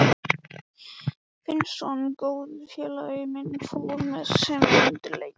Finnsson, góður félagi minn, fór með sem undirleikari.